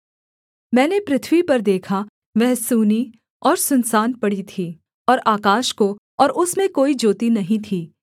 मैंने पृथ्वी पर देखा वह सूनी और सुनसान पड़ी थी और आकाश को और उसमें कोई ज्योति नहीं थी